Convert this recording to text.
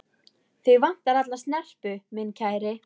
Þig vantar alla snerpu, minn kæri.